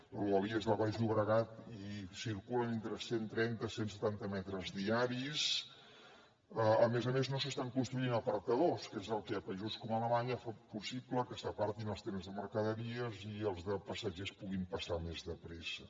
a rodalies del baix llobregat hi circulen entre cent trenta cent setanta metres diaris a més a més no s’estan construint apartadors que és el que a països com alemanya fa possible que s’apartin els trens de mercaderies i els de passatgers puguin passar més de pressa